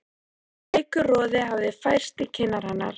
Veikur roði hafði færst í kinnar hennar.